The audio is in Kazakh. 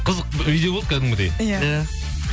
қызық видео болды кәдімгідей иә